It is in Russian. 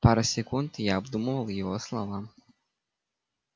пару секунд я обдумывал его слова